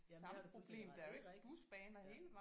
Jamen det har du fuldstændig ret i det er rigtigt ja